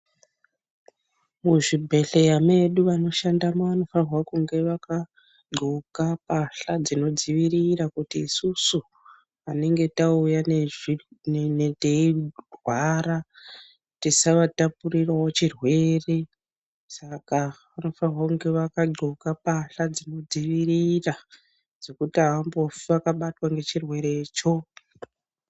Muzvibhedhlera medu vanoshandamo vanofanirwa kunge vakaxoka mbatya dzinodziirira kuti isusu patinenge tauya teirwara tisavatapurirawo chirwere saka vanofanirwa kunge vakaxoka mbatya dzinodzivirira dzekuti havambofe vakabatwa ngechirwerecho.